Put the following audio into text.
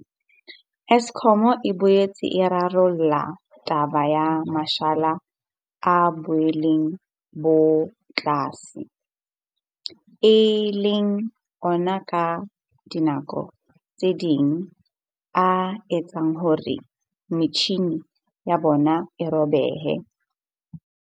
Eskom e boetse e rarolla taba ya mashala a boleng bo tlase, e leng ona ka dinako tse ding a etsang hore metjhini ya bona e robehe.